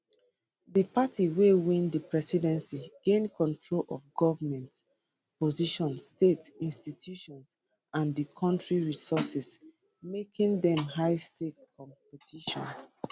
di party wey win di presidency gain control of goment positions state institutions and di kontri resources making am highstakes competition